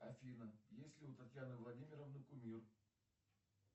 афина есть ли у татьяны владимировны кумир